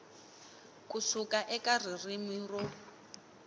ku suka eka ririmi ro